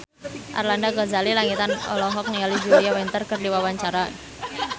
Arlanda Ghazali Langitan olohok ningali Julia Winter keur diwawancara